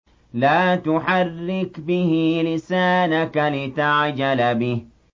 لَا تُحَرِّكْ بِهِ لِسَانَكَ لِتَعْجَلَ بِهِ